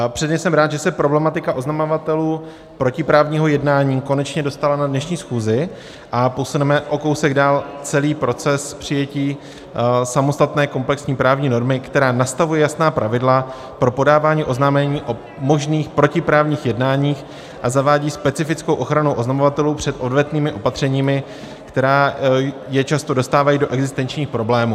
Předně jsem rád, že se problematika oznamovatelů protiprávního jednání konečně dostala na dnešní schůzi a posuneme o kousek dál celý proces přijetí samostatné komplexní právní normy, která nastavuje jasná pravidla pro podávání oznámení o možných protiprávních jednáních a zavádí specifickou ochranu oznamovatelů před odvetnými opatřeními, která je často dostávají do existenčních problémů.